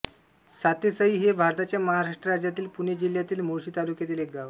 सातेसई हे भारताच्या महाराष्ट्र राज्यातील पुणे जिल्ह्यातील मुळशी तालुक्यातील एक गाव आहे